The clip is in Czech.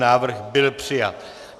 Návrh byl přijat.